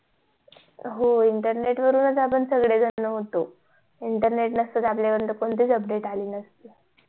हो internet च आपण सगळे जण होतो internet नसत त आपल्या पर्यंत कोणती च update अली नसती